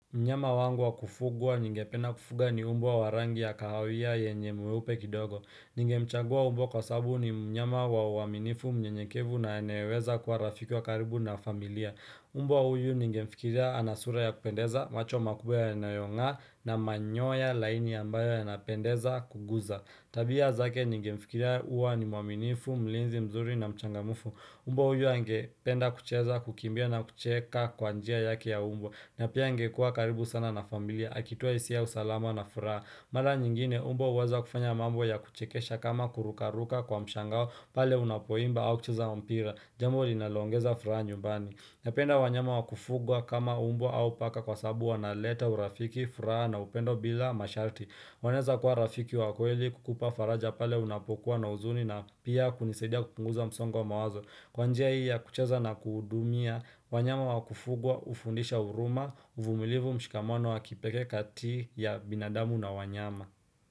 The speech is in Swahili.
Mnyama wangu wa kufugwa ningependa kufuga ni mbwa wa rangi ya kahawia yenye mweupe kidogo. Ningemchagua mbwa kwa sababu ni mnyama wa uaminifu, mnyenyekevu na anayeweza kuwa rafiki wa karibu na familia. Mbw huyu ningemfikiria ana sura ya kupendeza, macho makubwa yanayonga na manyoya laini ambayo yanapendeza kuguza. Tabia zake ningemfikiria huwa ni mwaminifu, mlinzi mzuri na mchangamfu. Mbwa huyu angependa kucheza, kukimbia na kucheka kwa njia yake ya mbwa. Na pia angekua karibu sana na familia, akitoa hisia ya usalama na furaha Mara nyingine, mbwa huweza kufanya mambo ya kuchekesha kama kurukaruka kwa mshangao pale unapoimba au kucheza mpira Jambo linaloongeza furaha nyumbani Napenda wanyama wakufugwa kama mbwa au paka kwa sababu wanaleta urafiki, furaha na upendo bila masharti wanaeza kuwa rafiki wa kweli kukupa faraja pale unapokuwa na huzuni na pia kunisaidia kupunguza msongo wa mawazo Kwa njia hii ya kucheza na kuhudumia, wanyama wa kufugwa hufundisha huruma, uvumilivu mshikamono wa kipekee kati ya binadamu na wanyama.